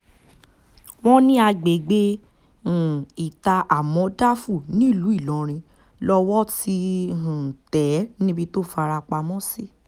wọ́n ní agbègbè um ità-àmọ̀dáfú nílùú ìlọrin lowó ti um tẹ̀ ẹ́ níbi tó fara pamọ́ sí